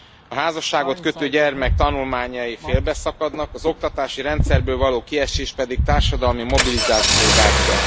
A házasságot kötő gyermek tanulmányai félbeszakadnak, az oktatási rendszerből való kiesés pedig a társadalmi mobilizáció gátja.